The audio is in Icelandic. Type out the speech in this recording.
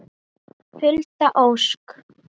Hulda Ósk.